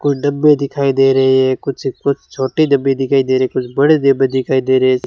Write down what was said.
कुछ डब्बे दिखाई दे रहे है कुछ कुछ छोटी डब्बे दिखाई दे रहे कुछ बड़े डब्बे दिखाई दे रहे हैं।